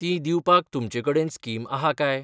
तीं दिवपाक तुमचे कडेन स्कीम आहा काय